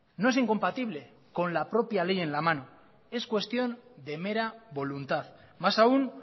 no es incompatible con la propia ley en la mano es cuestión de mera voluntad más aún